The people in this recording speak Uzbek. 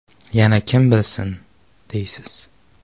Yana kim bilsin, deysiz?